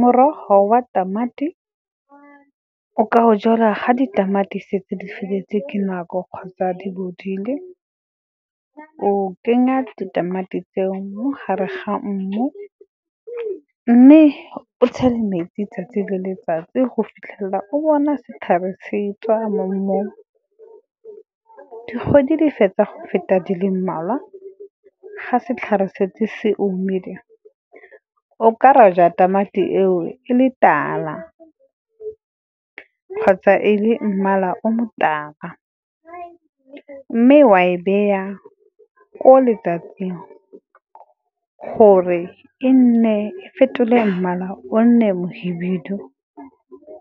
Morogo wa tamati o ka o jala ga ditamati setse di feleletse ke nako kgotsa di bodile. O kenya ditamati tseo mo gare ga mmu, mme o tshele metsi 'tsatsi le letsatsi go fitlhelela o bona setlhare se tswa mo mmung. Dikgwedi di fetsa go feta di le mmalwa ga setlhare setse se omile, o ka roja tamati eo e le tala, kgotsa e le mmala o motala. Mme wa e beya ko letsatsing gore e nne e fetole mmala, o nne mohibidu